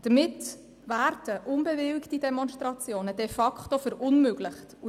Damit werden unbewilligte Demonstrationen de facto verunmöglicht.